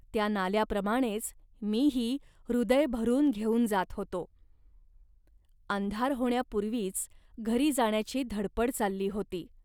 त्या नाल्याप्रमाणेच मीही हृदय भरून घेऊन जात होतो. अंधार होण्यापूर्वीच घरी जाण्याची धडपड चालली होती